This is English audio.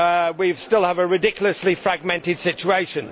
We still have a ridiculously fragmented situation.